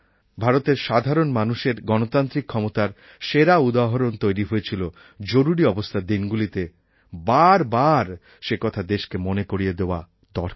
ভারতের সাধারণ মানুষের গণতান্ত্রিক ক্ষমতার সেরা উদাহরণ তৈরি হয়েছিল জরুরি অবস্থার দিনগুলিতে বার বার সেকথা দেশকে মনে করিয়ে দেওয়া দরকার